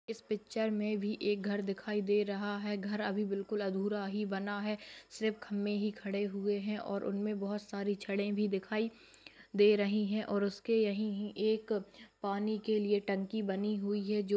इस पिक्चर में भी एक घर दिखाई दे रहा है घर अभी बिलकुल अधूरा ही बना है सिर्फ खंभे ही खड़े हुए है और उनमे बहुत सारी छड़े भी दिखाई दे रही है और उसके यहीं ही एक पानी के लिए टंकी बनी हुई है जो --